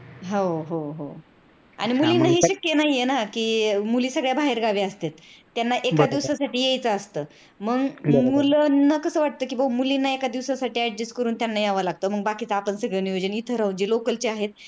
हो हो आनि मुलीना हे शक्य नाहीये ना कि मुली सगळ्या बाहेर गावी असत्यात त्यांना एका दिवसासाठी येयच असत मग मुलांना कसा वाटत कि मुलींना एका दिवसासाठी adjust करून त्यांना यावं लागत मग बाकीच आपण सगळ नियोजन इथं राहूत मग जे local चे आहेत.